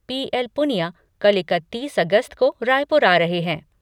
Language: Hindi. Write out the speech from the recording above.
पी एल पुनिया कल इकत्तीस अगस्त को रायपुर आ रहे है।